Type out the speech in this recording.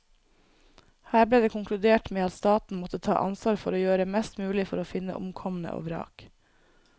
Her ble det konkludert med at staten måtte ta ansvar for å gjøre mest mulig for å finne omkomne og vrak.